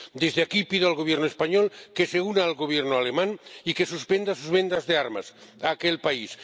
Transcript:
Desde aquí pido al Gobierno español que se una al Gobierno alemán y que suspenda sus ventas de armas a aquel país